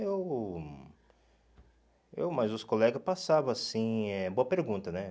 eu... Eu, mas os colegas passavam, assim, é... Boa pergunta, né?